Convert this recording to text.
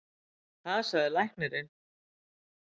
Það sagði læknirinn.